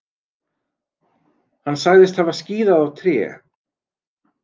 Hann sagðist hafa skíðað á tré.